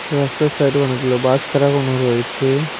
রাস্তার সাইডে অনেকগুলো বাস খাড়া করানো রয়েছে।